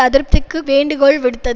அதிருப்திக்கு வேண்டுகோள் விடுத்தத்